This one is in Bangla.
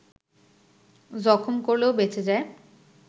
জখম করলেও বেঁচে যায়